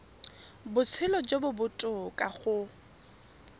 botshelo jo bo botoka go